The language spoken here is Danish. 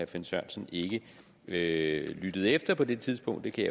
finn sørensen ikke lyttede lyttede efter på det tidspunkt det kan